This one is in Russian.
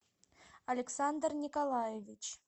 александр николаевич